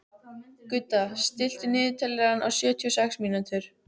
Gudda, stilltu niðurteljara á sjötíu og sex mínútur.